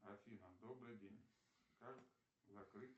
афина добрый день как закрыть